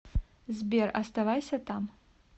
сбер оставайся там